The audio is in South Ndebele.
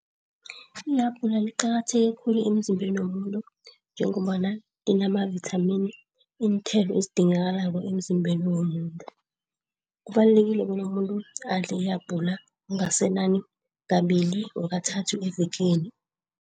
Ihabhula liqakatheke khulu emzimbeni womuntu, njengombana linamavithamini iinthelo ezidingakalako emzimbeni womuntu. Kubalulekile bona umuntu adle ihabhula okungasenani kabili or kathathu evekeni.